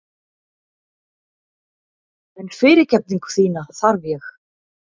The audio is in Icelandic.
En fyrirgefningu þína þarf ég.